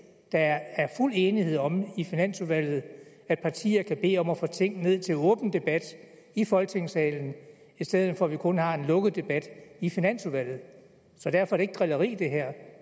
der er fuld enighed om i finansudvalget at partier kan bede om at få ting ned til åben debat i folketingssalen i stedet for at vi kun har en lukket debat i finansudvalget så derfor ikke drilleri